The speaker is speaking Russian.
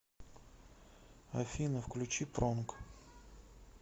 афина включи пронг